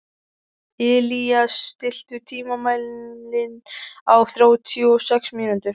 Illíes, stilltu tímamælinn á þrjátíu og sex mínútur.